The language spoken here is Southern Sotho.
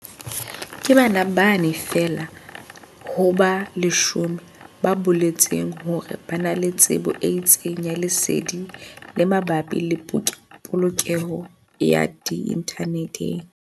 Ke bana ba bane feela ho ba 10 ba boletseng hore ba na le tsebo e itseng ya lesedi le mabapi le polokeho ya inthaneteng.